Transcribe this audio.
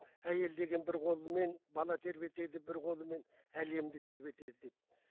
әйел деген бір қолымен бала тербетеді бір қолымен әлемді тербетеді